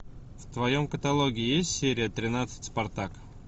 в твоем каталоге есть серия тринадцать спартак